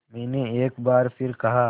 मैंने एक बार फिर कहा